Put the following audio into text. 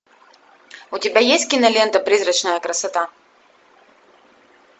у тебя есть кинолента призрачная красота